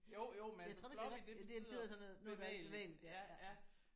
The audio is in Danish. Jo jo men altså floppy det betyder bevægeligt